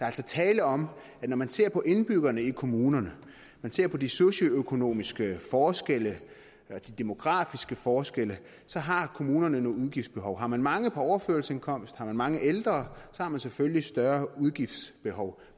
altså tale om at når man ser på indbyggerne i kommunerne når man ser på de socioøkonomiske forskelle eller de demografiske forskelle så har kommunerne nogle udgiftsbehov har man mange på overførselsindkomst og har man mange ældre så har man selvfølgelig større udgiftsbehov